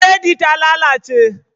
Buredi ta lalace